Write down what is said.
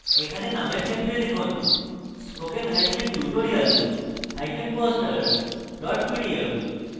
এখানে name ক্ষেত্রে লিখুন spokentutorialposter pdf